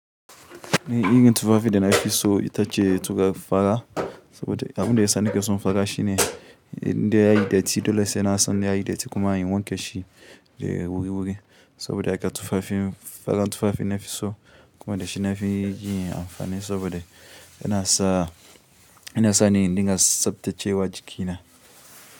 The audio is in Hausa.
Eh, irin tufafi da nafi so ita ce tufafi fara saboda abinda ya sa nake son fara shi ne inda yayi datti dole sai na san inda yayi datti kuma in wanke shi wurwuri saboda haka tufafin, fara tufafi nafi so kuma dashi nafi yin amfani saboda yana sa, yana sa ni indinga tsabtacce wa jikina.